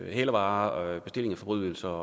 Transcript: hælervarer bestilling af forbrydelser